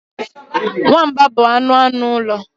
Nwamba bụ anụ anụ ụlọ.